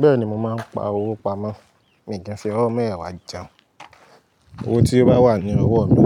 Bẹ́ẹ̀ni, mo máa ń pa owó pamọ́, mì dẹ̀ fi ọwọ́ mẹ́wẹ̀wàá jẹun. Owó tí ó bá wà ní ọwọ́ mi,